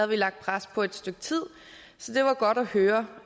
vi lagt pres på et stykke tid så det var godt at høre